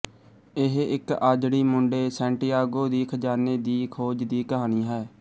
ਇਹ ਇੱਕ ਆਜੜੀ ਮੁੰਡੇ ਸੈਂਟੀਆਗੋ ਦੀ ਖਜਾਨੇ ਦੀ ਖੋਜ ਦੀ ਕਹਾਣੀ ਹੈ